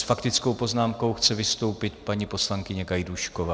S faktickou poznámkou chce vystoupit paní poslankyně Gajdůšková.